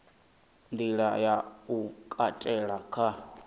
nḓila ya u katela kha